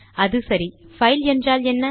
அது சரி பைல் என்றால் என்ன